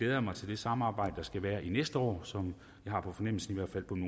jeg mig til det samarbejde der skal være næste år som jeg har på fornemmelsen